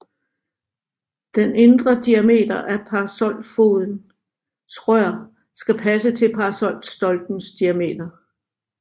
Den indre diameter af parasolfodens rør skal passe til parasolstoplens diametster